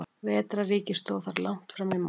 Vetrarríki stóð þar langt fram í maí.